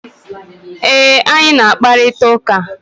E, anyị na-akparịta ụka.